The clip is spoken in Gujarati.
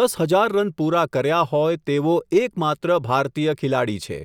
દસ હઝાર રન પુરા કર્યા હોય તેવો એક માત્ર ભારતીય ખિલાડી છે.